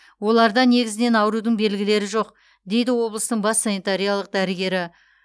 оларда негізінен аурудың белгілері жоқ дейді облыстың бас санитариялық дәрігері